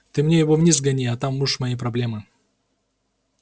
ты мне его вниз сгони а там уж мои проблемы